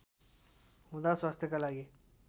हुँदा स्वास्थ्यका लागि